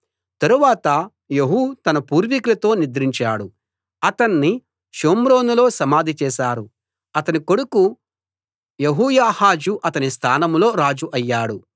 తరువాత యెహూ తన పూర్వీకులతో నిద్రించాడు అతణ్ణి షోమ్రోనులో సమాధి చేశారు అతని కొడుకు యెహోయాహాజు అతని స్థానంలో రాజు అయ్యాడు